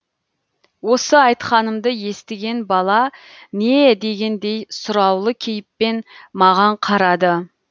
осы айтқанымды естіген бала не дегендей сұраулы кейіппен маған қарады